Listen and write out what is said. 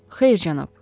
Xeyr, cənab.